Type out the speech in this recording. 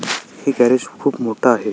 हे गॅरेज खुप मोठ आहे.